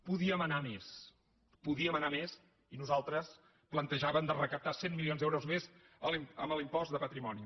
podíem anar a més podíem anar a més i nosaltres plantejàvem de recaptar cent milions d’euros més amb l’impost de patrimoni